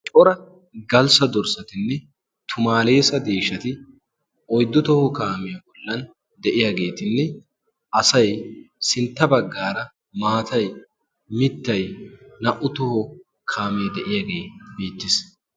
Cora galssa dorssatinne tumaaleesa deeshshati oyddu toho kaamiya bollan de'iyaageetinne asay sintta baggaara maatay mittay naa"u toho kaamee de'iyaagee beettes.